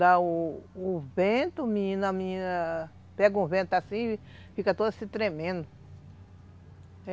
Dá o o vento, menina, a menina pega o vento assim e fica toda se tremendo.